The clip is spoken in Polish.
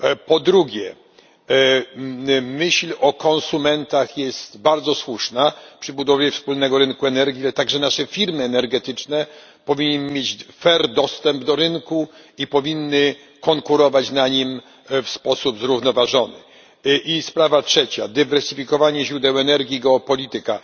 Po drugie, myśl o konsumentach jest bardzo słuszna przy budowie wspólnego rynku energii, ale także naszej firmy energetyczne powinny mieć dostęp do rynku i powinny konkurować na nim w sposób zrównoważony. I sprawa trzecia dywersyfikowanie źródeł energii, geopolityka.